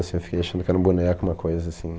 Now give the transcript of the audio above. Assim, eu fiquei achando que era um boneco, uma coisa assim.